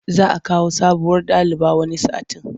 Za a kawo sabuwar daliba wani satin.